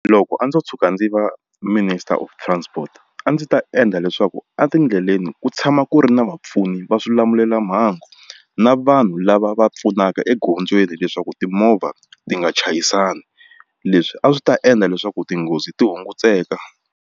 Loko a ndzo tshuka ndzi va minister of transport a ndzi ta endla leswaku etindleleni ku tshama ku ri na vapfuni va swilamulelamhangu na vanhu lava va pfunaka egondzweni leswaku timovha ti nga chayisani leswi a swi ta endla leswaku tinghozi ti hunguteka.